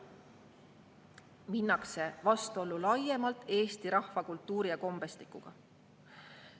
Minnakse vastuollu laiemalt eesti rahva, kultuuri ja kombestikuga.